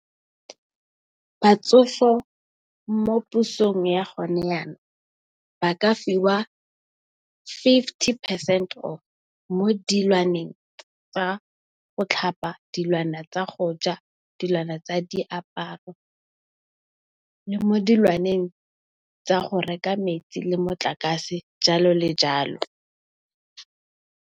Batsofe mo pusong ya gone yanong ba ka fiwa fifty percent off mo dilwaneng tsa go tlhapa, dilwana tsa go ja, dilwana tsa diaparo le mo dilwaneng tsa go reka metsi le motlakase jalo le jalo.